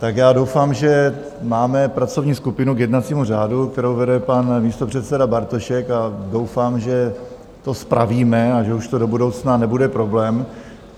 Tak já doufám, že máme pracovní skupinu k jednacímu řádu, kterou vede pan místopředseda Bartošek, a doufám, že to spravíme a že už to do budoucna nebude problém.